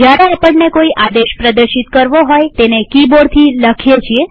જયારે આપણને કોઈ આદેશ પ્રદર્શિત કરવો હોયતેને કિબોર્ડથી લખીએ છીએ